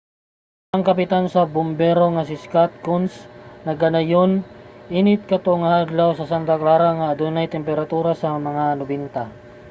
ang kapitan sa bumbero nga si scott kouns nagkanayon init kato nga adlaw sa santa clara nga adunay temperatura sa mga 90